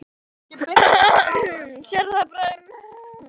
Sérðu, sagði Björn og tók í handlegg hans.